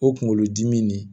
O kunkolodimi de